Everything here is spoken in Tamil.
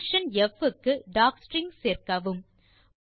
பங்ஷன் ப் க்கு டாக்ஸ்ட்ரிங் சேர்க்கவும்